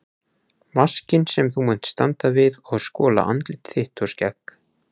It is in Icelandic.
Vaskinn sem þú munt standa við og skola andlit þitt og skegg.